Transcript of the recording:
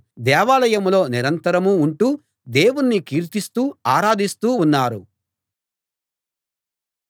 దేవాలయంలో నిరంతరం ఉంటూ దేవుణ్ణి కీర్తిస్తూ ఆరాధిస్తూ ఉన్నారు